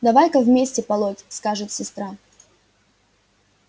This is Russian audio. давай-ка вместе полоть скажет сестра